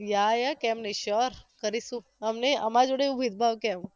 યા યા કેમ નહિ sure કરીશુ અમનેય અમારી જોડે એવુ ભેદભાવ કેમ